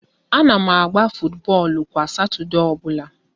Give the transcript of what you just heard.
A na m agba futubọọlụ kwa Satọdee ọbụla